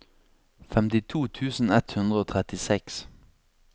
femtito tusen ett hundre og trettiseks